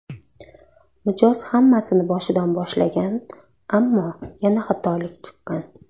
Mijoz hammasini boshidan boshlagan, ammo yana xatolik chiqqan.